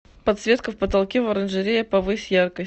подсветка в потолке в оранжерее повысь яркость